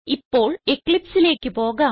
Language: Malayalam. ഇപ്പോൾ Eclipseലേക്ക് പോകാം